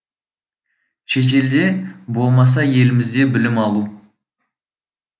шетелде болмаса елімізде білім алу